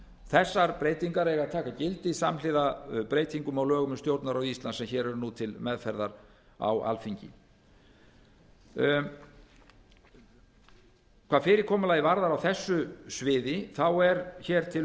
þessar breytingar eiga að taka gildi samhliða breytingum á lögum um stjórnarráð íslands sem nú eru til meðferðar á alþingi hvað fyrirkomulagið varðar á þessu sviði er til